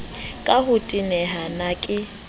ka ho teneha na ke